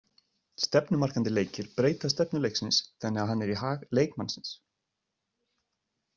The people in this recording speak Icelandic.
Stefnumarkandi leikir breyta stefnu leiksins þannig að hann er í hag leikmannsins.